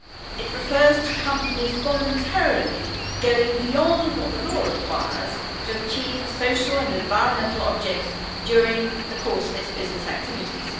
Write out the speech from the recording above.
It refers to companies voluntarily going beyond what the law requires to achieve social and environmental objectives during the course of its business activities.